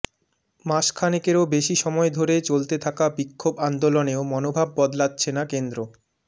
মাস খানেকেরও বেশি সময় ধরে চলতে থাকা বিক্ষোভ আন্দোলনেও মনোভাব বদলাচ্ছে না কেন্দ্র